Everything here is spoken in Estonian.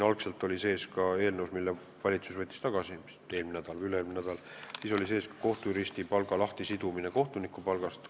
Algul oli eelnõus, mille valitsus võttis eelmine või üle-eelmine nädal tagasi, ka kohtujuristi palga lahtisidumine kohtuniku palgast.